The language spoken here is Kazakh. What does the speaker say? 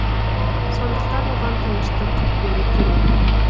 сондықтан оған тыныштық беру керек